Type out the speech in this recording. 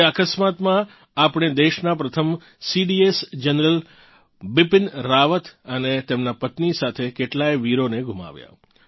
તે અકસ્માતમાં આપણે દેશનાં પ્રથમ સીડીએસ જનરલ બિપિન રાવત અને તેમનાં પત્નિ સાથે કેટલાંય વીરોને ગુમાવ્યાં